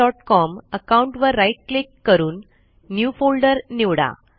STUSERONEgmailcom account वर right click करून new folder निवडा